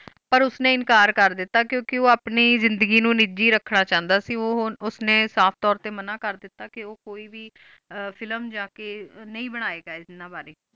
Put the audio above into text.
ਓਰ ਉਸ ਨੀ ਇਨਕਾਰ ਕੇਰ ਦਿਤਾ ਕ ਕ ਓ ਆਪਣੀ ਜ਼ਿੰਦਗੀ ਨੂ ਨਿੱਜੀ ਰ੍ਕਨਾ ਚਾਹੰਦਾ ਕ ਓ ਹੋਣ ਉਸ ਨੀ ਸਾਫ਼ ਤੋਰ ਟੀ ਮਨਾ ਕੇਰ ਦਿਤਾ ਕ ਓ ਕੋਈ ਵ ਆ ਫਿਲਮ ਯਾ ਕ ਨਾਈ ਬਨਾਏ ਗਾ ਏਯ੍ਨਾ ਬਰੀ